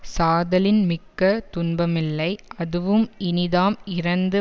சாதலின் மிக்க துன்பமில்லை அதுவும் இனிதாம் இரந்து